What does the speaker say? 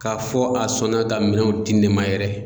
K'a fɔ a sɔnna ka minɛnw di ne ma yɛrɛ.